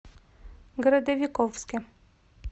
городовиковске